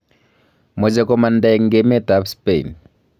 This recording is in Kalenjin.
Moche komanda en emet ab Spain .